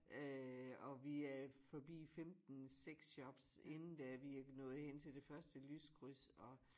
Øh og vi er forbi 15 sexshops inden det er vi er nået hen til det første lyskryds og